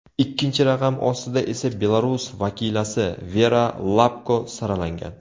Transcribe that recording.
Ikkinchi raqam ostida esa Belarus vakilasi Vera Lapko saralangan.